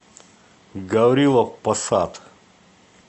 гаврилов посад